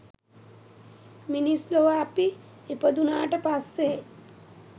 මිනිස් ලොව අපි ඉපදුනාට පස්සේ